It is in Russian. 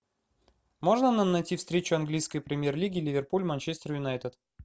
можно нам найти встречу английской премьер лиги ливерпуль манчестер юнайтед